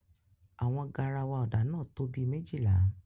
Awọn garawa ọ́dạ náa to bi mejila